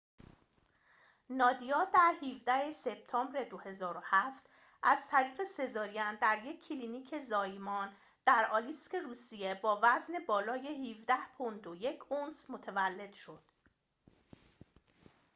نادیا در ۱۷ سپتامبر ۲۰۰۷ از طریق سزارین در یک کلینیک زایمان در آلیسک روسیه با وزن بالای ۱۷ پوند و ۱ اونس متولد شد